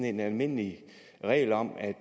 en almindelig regel om at